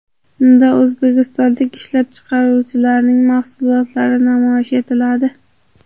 Unda o‘zbekistonlik ishlab chiqaruvchilarning mahsulotlari namoyish etiladi.